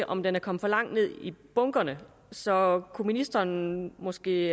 om den er kommet for langt ned i bunkerne så kunne ministeren måske